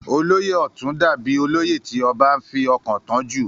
olóyè ọ̀tún dà bíi olóyè tí ọbá fi ọkàn tán jù